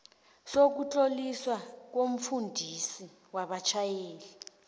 sokutloliswa komfundisi wabatjhayeli